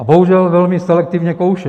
A bohužel velmi selektivně kouše.